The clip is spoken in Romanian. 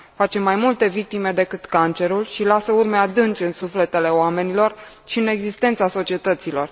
Face mai multe victime decât cancerul și lasă urme adânci în sufletele oamenilor și în existența societăților.